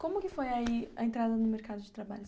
Como que foi aí a entrada no mercado de trabalho?